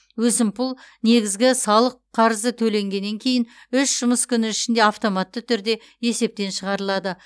өсімпұл негізгі салық қарызы төленгеннен кейін үш жұмыс күні ішінде автоматты түрде есептен шығарылады